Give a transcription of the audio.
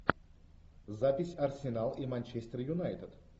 запись арсенал и манчестер юнайтед